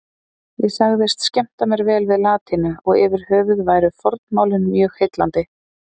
Ég sagðist skemmta mér vel við latínu og yfirhöfuð væru fornmálin mjög heillandi.